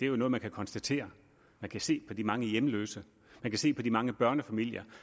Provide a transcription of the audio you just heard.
jo noget man kan konstatere man kan se på de mange hjemløse man kan se på de mange børnefamilier